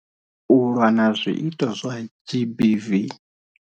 U lwa na zwiito zwa GBV.